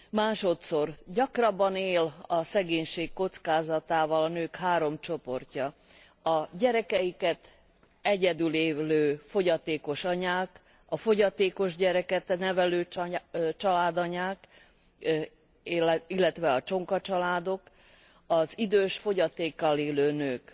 Másodszor gyakrabban él a szegénység kockázatával a nők három csoportja a gyerekeiket egyedül nevelő fogyatékos anyák, a fogyatékos gyereket nevelő családanyák, illetve a csonka családok, az idős, fogyatékkal élő nők.